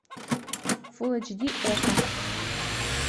фулл эйч ди окко